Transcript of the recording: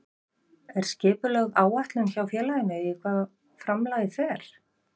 Er skipulögð áætlun hjá félaginu í hvað framlagið fer?